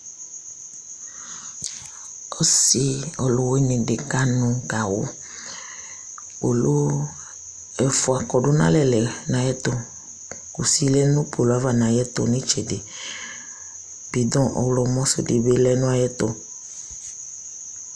Ɔsɩ ɔlʋwɩnɩ dɩ kanʋ gawʋ Kpolu ɛfʋa kɔdʋ nʋ alɛ lɛ nʋ ayɛtʋ Kusi lɛ nʋ kpolu yɛ ava nʋ ayʋ ɛtʋ nʋ ɩtsɛdɩ Bɩdɔ̃ ɔɣlɔmɔ sʋ dɩ bɩ lɛ nʋ ayɛtʋ